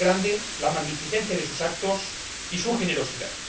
Lo hace grande la magnificencia de sus actos y su generosidad.